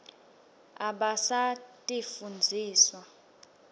abasitifundziswa